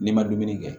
N'i ma dumuni kɛ